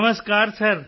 Namaskar sir